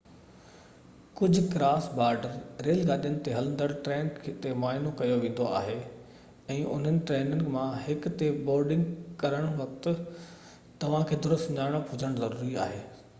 ڪجهه cross border rail گاڏين تي هلندڙ ٽرين تي معائنو ڪيو ويندو آهي ۽ انهن ٽرينن مان هڪ تي بورڊنگ ڪرڻ وقت توهان کي درست سڃاڻپ هجڻ ضروري آهي